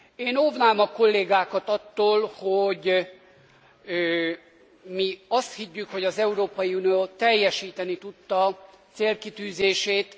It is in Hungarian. Én óvnám a kollégákat attól, hogy mi azt higgyük, hogy az Európai Unió teljesíteni tudta célkitűzését.